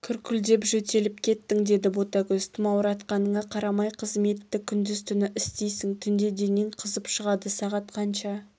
күркілдеп жөтеліп кеттің деді ботагөз тымауратқаныңа қарамай қызметті күндіз-түні істейсің түнде денең қызып шығады сағат қанша